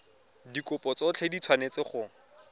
dikopo tsotlhe di tshwanetse go